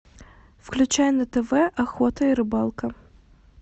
включай на тв охота и рыбалка